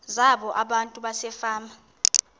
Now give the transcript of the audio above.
zabo abantu basefama